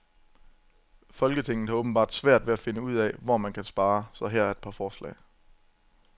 Folketinget har åbenbart svært ved at finde ud, hvor man kan spare, så her er et par forslag.